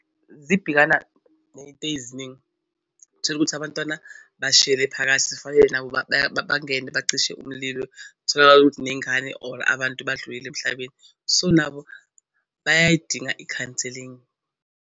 Zibhekana ney'teziningi utholukuthi abantwana bashayele phakathi zifanele nabo bangene bacishe umlilo. Kutholakala ukuthi ney'ngane or abantu badlulile emhlabeni, so nabo bayayidinga i-counselling.